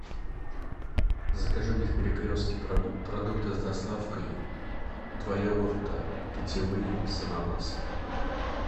закажи мне в перекрестке продукты с доставкой два йогурта питьевые с ананасом